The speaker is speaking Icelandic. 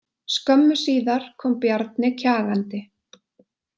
Skömmu síðar kom Bjarni kjagandi.